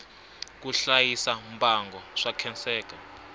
ku hlayisa mbango swa khenseka